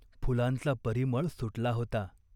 फुलांचा परिमळ सुटला होता.